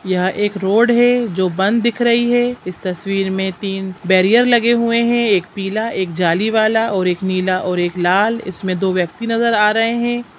यह एक रोड है जो बंद दिख रही है इस तस्वीर में तीन बैरियर लगे हुए है एक पीला एक जाली वाला और एक नीला और एक लाल इसमें दो व्यक्ति नजर आ रहे हैं।